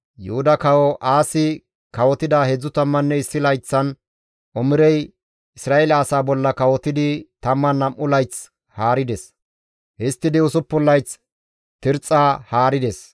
Yuhuda kawo Aasi kawotida 31 layththan Omirey Isra7eele asaa bolla kawotidi 12 layth haarides; histtidi 6 layth Tirxxa haarides.